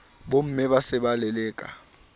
bomme ba se ba leleka